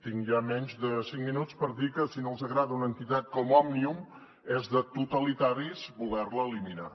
tinc ja menys de cinc minuts per dir que si no els agrada una entitat com òmnium és de totalitaris voler la eliminar